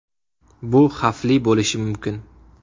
Bu xavfli bo‘lishi mumkin.